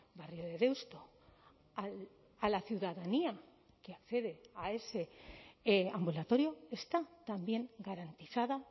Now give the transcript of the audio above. barrio de deusto a la ciudadanía que accede a ese ambulatorio está también garantizada